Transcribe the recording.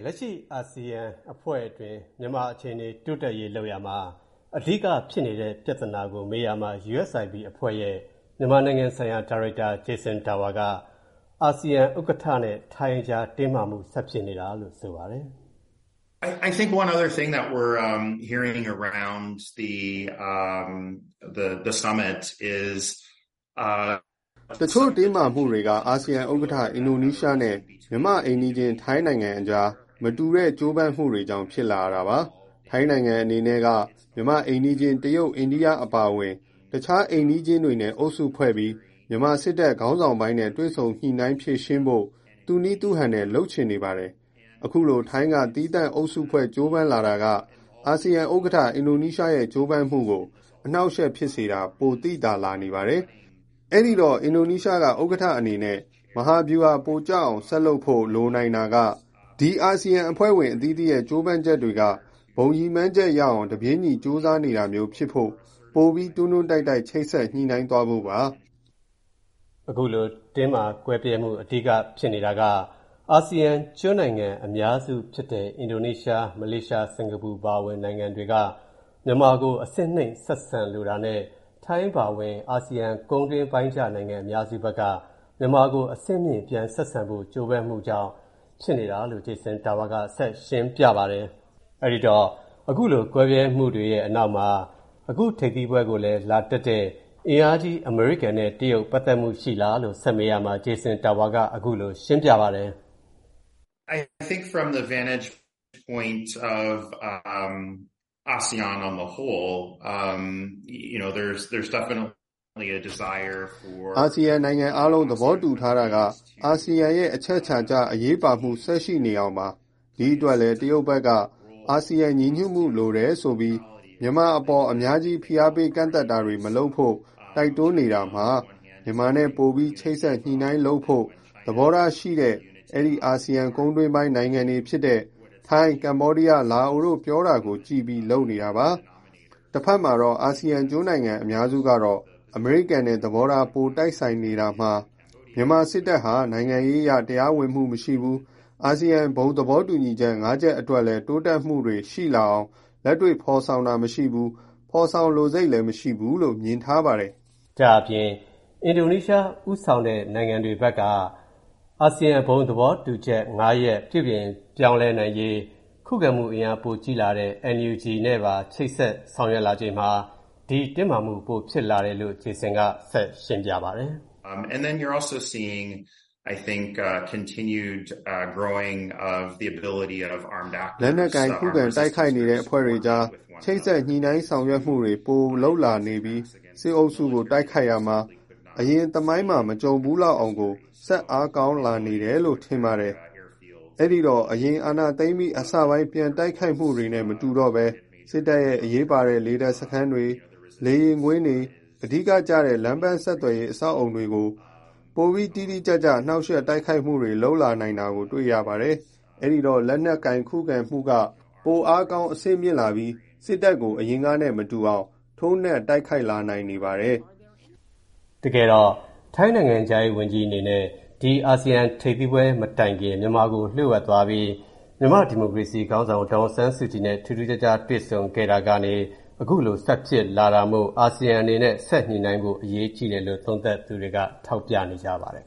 လက်ရှိ အာဆီယံအဖွဲ့အတွင်း မြန်မာအခြေအနေတိုးတက်ရေးလုပ်ရာမှာ အဓိကဖြစ်နေတဲ့ ပြဿနာကို ဗွီအိုအေသတင်းထောက်က မေးရာမှာ၊ USIP အဖွဲ့ရဲ့ မြန်မာနိုင်ငံဆိုင်ရာ ဒါရိုက်တာ Jason Tower က အာဆီယံ ဥက္ကဋ္ဌနဲ့ ထိုင်း အကြား တင်းမာမူ ဆက်ဖြစ်နေတာကြောင့်ဖြစ်တယ်လို့ သူ့အမြင်ကို ခုလိုပြောကြားခဲ့ပါတယ်၊ “တချို့တင်းမာမှုတွေက အာဆီယံဥက္ကဋ္ဌ အင်ဒိုနီးရှားနဲ့ မြန်မာ့အိမ်နီးချင်း ထိုင်းတို့အကြား မတူတဲ့ကြိုးပမ်းမှုတွေကြောင့် ဖြစ်လာရတာပါ။ ထိုင်းအနေနဲ့က မြန်မာ့ အိမ်နီးချင်း တရုတ်၊ အိန္ဒိယအပါအဝင် တခြားအိမ်နီးချင်းတွေနဲ့ အုပ်စုဖွဲ့ပြီး မြန်မာစစ်တပ်ခေါင်းဆောင်ပိုင်းနဲ့ တွေ့ဆုံညှိုနှိုင်းဖြေရှင်းဖို့ သူ့နည်းသူ့ဟန်နဲ့ လုပ်လာနေပါတယ်။ အခုလို ထိုင်းက သီးသန့် အုပ်စုဖွဲ့ကြိုးပမ်းလာတာက အာဆီယံ ဥက္ကဌ အင်ဒိုနီးရှားရဲ့ ကြိုးပမ်းမူူကို အနှောက်အယှက်ဖြစ်စေတာ ပိုပို သိသာလာနေပါတယ်။ အဲ့ဒိတော့ အင်ဒိုနီးရှားက ဥက္ကဋ္ဌအနေနဲ့ မဟာဗျုဟာပိုကျအောင် ဆက်လုပ်ဖို့ လိုနိုင်တာက၊ ဒီအာဆီယံအဖွဲ့ဝင်အသီးသီးရဲ့ ကြိုးပမ်းချက်တွေက ဘုံရည်မှန်းချက်ရောက်အောင် တပြေးညီ ကြိုးစားနေတာမျိုးဖြစ်ဖို့ ပိုပြီး တွန်းတွန်းတိုက်တိုက် ချိတ်ဆက်ညှိုနှိုင်းသွားဖို့ပါ။” အခုလို ကွဲပြားမှု အဓိက ဖြစ်နေတာက အာဆီယံကျွန်းနိုင်ငံတွေအများစုဖြစ်တဲ့ အင်ဒိုနီးရှား၊ မလေးရှား၊ စင်္ကာပူအပါအဝင် နိုင်ငံတွေက မြန်မာကို အဆင့်နှိမ့်ဆက်ဆံလိုတာနဲ့ ထိုင်းအပါအဝင် အာဆီယံကုန်းတွင်းကျနိုင်ငံအများစုဘက်က မြန်မာကို အဆင့်မြှင့် ပြန်ဆက်ဆံဖို့ ကြိုးပမ်းမှုကြောင့် ဖြစ်နေတာလို့ Jason Tower က ဆက်ရှင်းပြပါတယ်။ အဲ့ဒီတော့ အခုလို ကွဲပြားမှုတွေရဲ့ နောက်မှာ အခု ထိပ်သီးပွဲကိုလည်း တက်လာတဲ့ အင်အားကြီး အမေရိကန်နဲ့ တရုတ်တို့ ပတ်သက်မှုကို ဆက်မေးရာမှာ Jason Tower က အခုလိုရှင်းပြပါတယ်။ “အာဆီယံနိုင်ငံအားလုံး သဘောတူထားတာက အာဆီယံရဲ့ အချက်အချာကျအရေးပါမှု ဆက်ရှိနေအောင်ပါ။ ဒီအတွက် တရုတ်ဘက်ကလည်း အာဆီယံ ညီညွတ်မှုလိုတယ်ဆိုပြီး မြန်မာအပေါ် အများကြီး ဖိအားပေးကန့်သတ်တာတွေ မလုပ်ဖို့ တိုက်တွန်းနေတာမှာ၊ မြန်မာနဲ့ ပို ချိတ်ဆက်ညှိုနှိုင်းလုပ်ဖို့ သဘောထားရှိတဲ့ ဒီ အာဆီယံကုန်းတွင်းပိုင်း ထိုင်း၊ ကမ္ဘောဒီးယား၊ လာအိုတို့ပြောတာကို ကြည့်ပြီး လုပ်နေတာပါ။ တဖက်မှာတော့ အာဆီယံကျွန်းနိုင်ငံအများစုကတော့ အမေရိကန်နဲ့ သဘောထား ပိုတိုက်ဆိုင်နေတာမှာ မြန်မာစစ်တပ်ဟာ နိုင်ငံရေးအရ တရားဝင်မှုမရှိဘူး၊ အာဆီယံ ဘုံသဘောတူချက် ၅ ချက်အတွက်လည်း တိုးတက်မှုတွေရှိလာအောင် လက်တွေ့ ဖော်ဆောင်တာမရှိဘူး၊ ဖော်ဆောင်လိုစိတ်လည်းမရှိဘူးလို့ မြင်ထားပါတယ်။” ဒါအပြင် အင်ဒိုနီးရှား ဦးဆောင်တဲ့ နိုင်ငံတွေဘက်က အာဆီယံဘုံသဘောတူချက် ရပ်ကို ပြုပြင်ပြောင်းလဲနိုင်ရေး ခုခံမှုအင်အားကြီးလာတဲ့ NUG နဲ့ပါ ချိတ်ဆက်ဆောင်ရွက်လာချိန်မှာ ဒီတင်းမာမှု ပိုဖြစ်လာတယ်လို့ Jason Tower က ဆက်ရှင်းပြပါတယ်။ “လက်နက်ကိုင်ခုခံပြန်တိုက်နေတဲ့အဖွဲ့တွေအကြား ချိတ်ဆက်ညှိုနှိုင်းဆောင်ရွက်မှုတွေ ပိုလုပ်လာပြီး၊ စစ်အုပ်စုကို တိုက်ခိုက်ရာမှာ အရင်သမိုင်းမှာ မကြုံဖူးလောက်အောင်ကို ဆက်အားကောင်းလာနေတယ်ထင်ပါတယ်။ အဲ့ဒီတော့ အရင် အာဏာသိမ်းအပြီး အစပိုင်း ပြန်တိုက်ခိုက်မှုတွေနဲ့ မတူတော့ဘဲ၊ စစ်တပ်ရဲ့ အရေးပါတဲ့ လေတပ်စခန်းတွေ၊ လေယာဉ်ကွင်းတွေ၊ အဓိကကျတဲ့ လမ်းပန်းဆက်သွယ်ရေးအဆောက်အအုံတွေကို ပိုပစ်မှတ်ကျကျ နှောက်ယှက်တိုက်ခိုက်မှုတွေ လုပ်လာနိုင်တာတွေ တွေ့နေရပါတယ်။ အဲ့ဒီတော့ ဒီလက်နက်ကိုင် ခုခံမှုက ပိုအင်အားကောင်း အဆင့်မြင့်လာပြီး စစ်တပ်ကို အရင်နဲ့မတူအောင် ထိုးနှက်တိုက်ခိုက်လာနိုင်နေပါတယ်။” တကယ်တော့ ထိုင်းနိုင်ငံခြားရေးဝန်ကြီးအနေနဲ့ ဒီ အာဆီယံထိပ်သီးပွဲ မတိုင်ခင်လေး မြန်မာကို လျှို့ဝှက်သွားခဲ့ပြီး မြန်မာ့ဒီမိုကရေစီရေးခေါင်းဆောင် ဒေါ်အောင်ဆန်းစုကြည်နဲ့ ထူးထူးခြားခြား တွေ့ခဲ့တာကနေ အခုလို ဆက်ဖြစ်လာတာမို့ အာဆီယံအနေနဲ့ ဆက်ညှိုနှိုင်းဖို့ အရေးကြီးတယ်လို့ သုံးသပ်သူတွေက ထောက်ပြနေကြပါတယ်